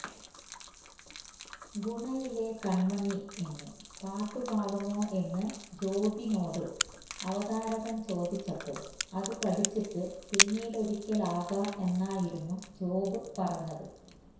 ഗുണയിലെ കണ്മണി എന്ന് പാട്ടു പാടുമോ എന്ന് ജോബിനോട് അവതാരകന് ചോദിച്ചപ്പോള് അത് പഠിച്ചിട്ട് പിന്നിടൊരിക്കലാകാം എന്നായിരുന്നു ജോബ് പറഞ്ഞത്